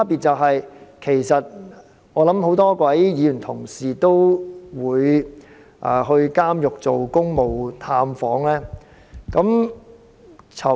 我相信很多議員同事都會到監獄作公務探訪。